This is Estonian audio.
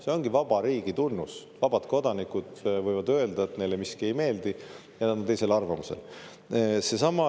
See ongi vaba riigi tunnus: vabad kodanikud võivad öelda, et neile miski ei meeldi ja nad on teisel arvamusel.